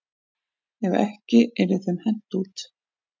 Ef ekki yrði þeim hent út.